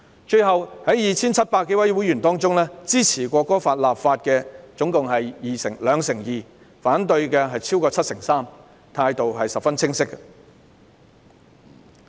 最後，在 2,700 多位會員中，支持《條例草案》的有兩成二，反對的超過七成三，態度十分清晰。